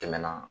Tɛmɛna